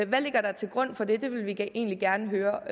hvad ligger der til grund for det det vil vi egentlig gerne høre